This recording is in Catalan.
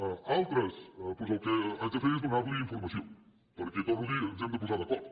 a altres doncs el que haig de fer és donar li informació perquè ho torno a dir ens hem de posar d’acord